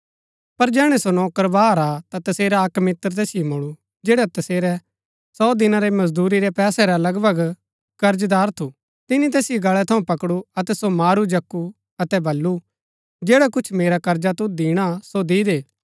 पर जैहणै सो नौकर बाहर आ ता तसेरा अक्क मित्र तैसिओ मूळु जैडा तसेरा सौ दिना रै मजदूरी रै पैसा रा लगभग कर्जदार थु तिनी तैसिओ गळै थऊँ पकडु अतै सो मारू जकु अतै बल्लू जैडा कुछ मेरा कर्जा तुद दिणा सो दि दे